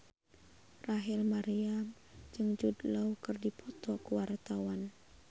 Rachel Maryam jeung Jude Law keur dipoto ku wartawan